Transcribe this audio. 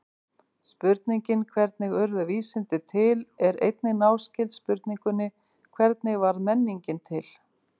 Spurningin hvernig urðu vísindi til er einnig náskyld spurningunni hvernig varð menningin til?